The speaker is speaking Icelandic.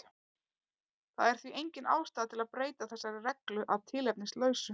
Það er því engin ástæða til að breyta þessari reglu að tilefnislausu.